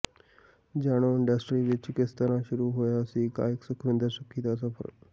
ਜਾਣੋ ਇੰਡਸਟਰੀ ਵਿੱਚ ਕਿਸ ਤਰ੍ਹਾਂ ਸ਼ੁਰੂ ਹੋਇਆ ਸੀ ਗਾਇਕ ਸੁਖਵਿੰਦਰ ਸੁੱਖੀ ਦਾ ਸਫਰ